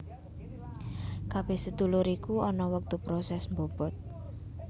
Kabeh sedulur iku ana wektu proses mbobot